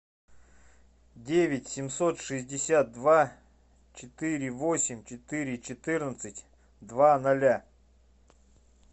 девять семьсот шестьдесят два четыре восемь четыре четырнадцать два ноля